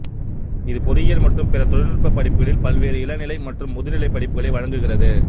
இது பொறியியல் மற்றும் பிற தொழில்நுட்ப படிப்புகளில் பல்வேறு இளங்நிலை மற்றும் முதுநிலை படிப்புகளை வழங்குகிறது